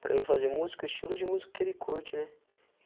Para mim fazer música, o estilo de música que ele curte, né?